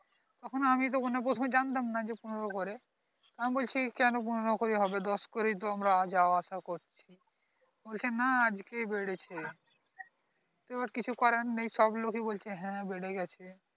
তখনি তো আমি তো প্রথমে যানতাম না যে পনেরো করে আমি বলছি কেনো পনেরো করে হবে দশ করে তো আমরা যাওয়া আসা করি বলছে না আজকেই বেরেছে এবার কিছু করার নেই সব লোকেই বলছে হ্যাঁ হ্যাঁ বেরে গেছে